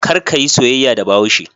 Kar ka yi soyayya da Bahaushe.